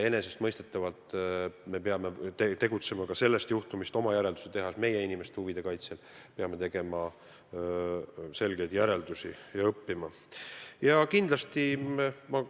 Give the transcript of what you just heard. Enesestmõistetavalt me peame sellest juhtumist järeldusi tegema ja õppima ning oskama meie inimeste huve paremini kaitsta.